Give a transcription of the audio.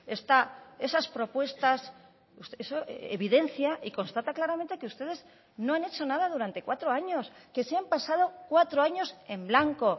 está esas propuestas eso evidencia y constata claramente que ustedes no han hecho nada durante cuatro años que se han pasado cuatro años en blanco